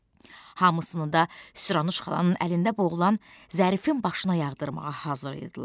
Hamısını da, sıranı şxlanın əlində boğulan Zərifin başına yağdırmağa hazır idilər.